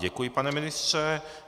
Děkuji, pane ministře.